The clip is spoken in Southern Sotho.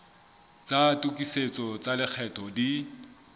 tsa tokisetso tsa lekgetho di